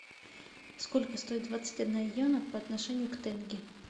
сколько стоит двадцать одна йена по отношению к тенге